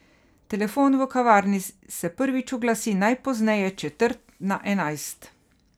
Telefon v kavarni se prvič oglasi najpozneje četrt na enajst.